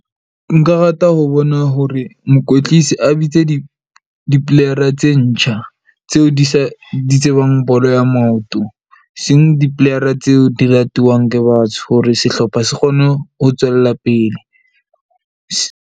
Nka rata ho bona hore mokwetlisi a bitse di-play-ara tse ntjha, tseo di sa di tsebang bolo ya maoto eseng dplayara tseo di ratuwang ke batsho. Hore sehlopha se kgone ho tswella pele .